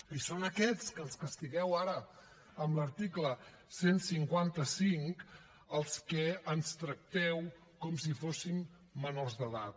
i són aquests que ens castigueu ara amb l’article cent i cinquanta cinc els que ens tracteu com si fóssim menors d’edat